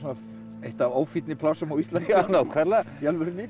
eitt af plássum á Íslandi í alvörunni